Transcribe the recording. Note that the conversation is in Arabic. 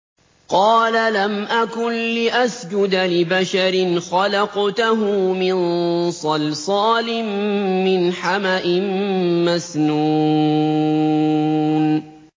قَالَ لَمْ أَكُن لِّأَسْجُدَ لِبَشَرٍ خَلَقْتَهُ مِن صَلْصَالٍ مِّنْ حَمَإٍ مَّسْنُونٍ